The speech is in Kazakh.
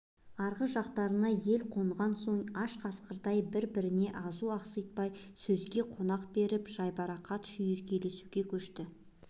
арғы жақтарына ел қонған соң аш қасқырдай бір-біріне азу ақситпай сөзге қонақ беріп жайбарақат шүйіркелесуге көшті